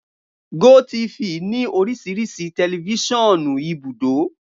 Gotv ní oríṣiríṣi tẹlifiṣionu ìbúdò.